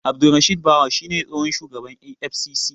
Abdurrashid Bawa shi ne tsohon shugaban EFCC.